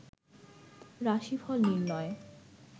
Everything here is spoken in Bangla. রাশিফল নির্ণয়